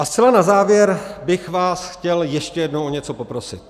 A zcela na závěr bych vás chtěl ještě jednou o něco poprosit.